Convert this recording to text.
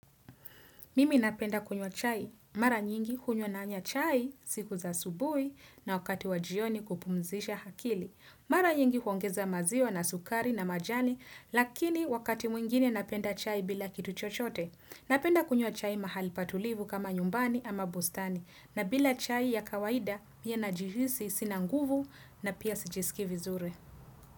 Mimi napenda kunywa chai. Mara nyingi hunywa nanya chai siku za asubuhi na wakati wajioni kupumzisha akili. Mara nyingi huongeza maziwa na sukari na majani lakini wakati mwingine napenda chai bila kitu chochote. Napenda kunywa chai mahali patulivu kama nyumbani ama bustani na bila chai ya kawaida mie najihisi sinanguvu na pia sijisikii vizuri.